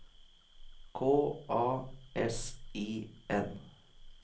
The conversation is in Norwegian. K A S I N